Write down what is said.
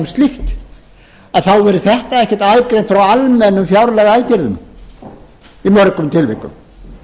slíkt þá verður þetta ekkert aðgreint frá almennum fjárlagaaðgerðum í mörgum tilvikum